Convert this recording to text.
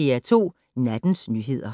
DR2 Nattens nyheder